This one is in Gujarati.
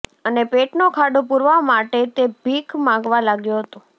અને પેટનો ખાડો પુરવા માટે તે ભીખ માંગવા લાગ્યો હતો